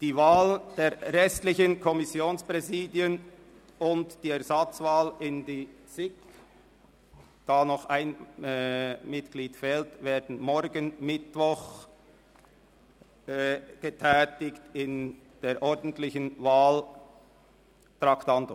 Die Wahlen der restlichen Kommissionspräsidien und die Ersatzwahl in die SiK – ein Mitglied fehlt noch – werden morgen Mittwoch unter den ordentlichen Wahltraktanden durchgeführt.